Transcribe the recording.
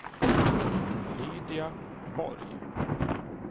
Lydia Borg